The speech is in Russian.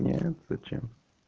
нет зачем